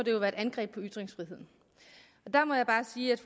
jo være et angreb på ytringsfriheden der må jeg bare sige at